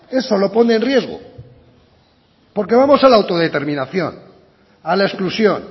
eso es lo que pone en riesgo porque vamos a la autodeterminación a la exclusión